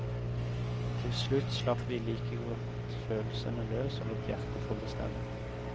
Til slutt slapp vi like godt følelsene løs og lot hjertet få bestemme.